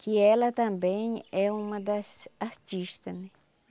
Que ela também é uma das artistas, né?